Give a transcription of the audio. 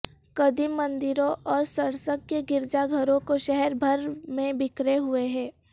قدیم مندروں اور سرسک کے گرجا گھروں کو شہر بھر میں بکھرے ہوئے ہیں